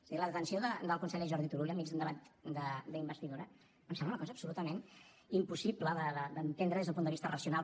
és a dir la detenció del conseller jordi turull enmig d’un debat d’investidura em sembla una cosa absolutament impossible d’entendre des d’un punt de vista racional